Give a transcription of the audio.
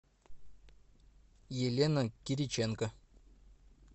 елена кириченко